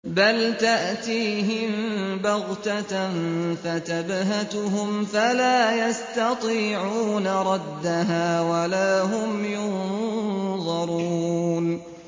بَلْ تَأْتِيهِم بَغْتَةً فَتَبْهَتُهُمْ فَلَا يَسْتَطِيعُونَ رَدَّهَا وَلَا هُمْ يُنظَرُونَ